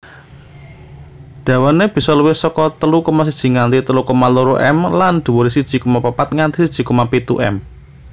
Dawané bisa luwih saka telu koma siji nganti telu koma loro m lan dhuwuré siji koma papat nganti siji koma pitu m